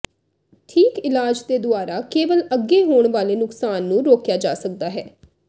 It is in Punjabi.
ਠੀਕ ਇਲਾਜ ਦੇ ਦੁਆਰਾ ਕੇਵਲ ਅੱਗੇ ਹੋਣ ਵਾਲੇ ਨੁਕਸਾਨ ਨੂੰ ਰੋਕਿਆ ਜਾ ਸਕਦਾ ਹੈ